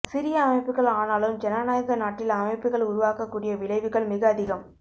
சிறிய அமைப்புகள் ஆனாலும் ஜனநாயக நாட்டில் அமைப்புகள் உருவாக்கக் கூடிய விளைவுகள் மிக அதிகம்